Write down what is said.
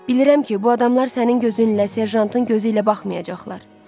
Bilirəm ki, bu adamlar sənin gözünlə, serjantın gözüylə baxmayacaqlar.